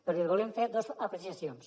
però li volem fer dos apreciacions